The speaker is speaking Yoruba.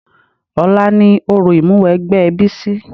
Ọ̀la ni òrò Ìmúwẹgbẹ́ Bísí